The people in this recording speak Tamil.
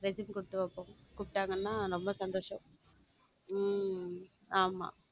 Resume கொடுத்து பாப்போம் கூப்பிட்டாங்கன்னா ரொம்ப சந்தோஷம் உம் ஆமா.